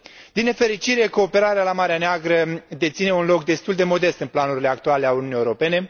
Din nefericire, cooperarea la Marea Neagră deține un loc destul de modest în planurile actuale ale Uniunii Europene.